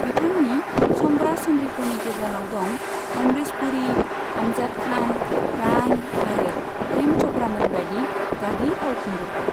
बिथांनि समब्रा समब्रिफोरनि गेजेराव दं अमरीश पुरी, आमजाद खान, प्राण आरो प्रेम च'पड़ामोनबायदि गागि फावखुंगुरफोर।